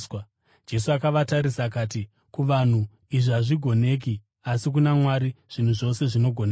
Jesu akavatarisa akati, “Kuvanhu izvi hazvigoneki asi kuna Mwari zvinhu zvose zvinogoneka.”